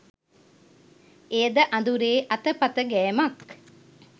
එයද අඳුරේ අතපත ගෑමක්